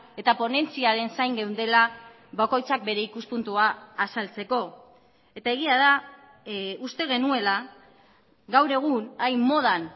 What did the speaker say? eta ponentziaren zain geundela bakoitzak bere ikuspuntua azaltzeko eta egia da uste genuela gaur egun hain modan